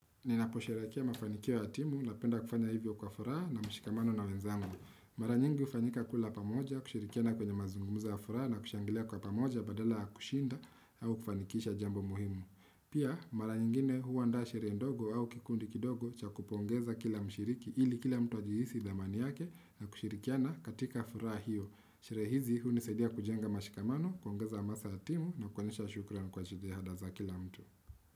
Ninaposherakia mafanikiwa atimu na penda kufanya hivyo kwa furaa na mshikamano na wenzangu. Mara nyingi ufanyika kula pamoja, kushirikiana kwenye mazungumuza ya furaha na kushangilea kwa pamoja badala ya kushinda au kufanikisha jambo muhimu. Pia, mara nyingine huwa nda sherehe ndogo au kikundi kidogo cha kupongeza kila mshiriki ili kila mtu wa jihisi dhamani yake na kushirikiana katika furaha hiyo. Sherehe hizi hunisadia kujenga mshikamano, kuongeza masa atimu na kuwanisha shukran kwa chidehada za kila mtu.